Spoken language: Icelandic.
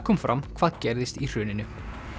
kom fram hvað gerðist í hruninu